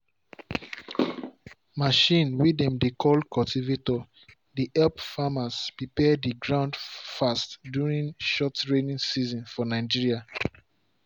machine way dem dey call cultivator dey help farmers prepare the ground fast during short rainy season for nigeria.